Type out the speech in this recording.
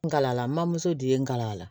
N galala mamuso di n gala